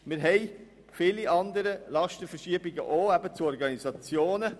Wir haben auch viele andere Lastenverschiebungen, etwa hin zu Organisationen.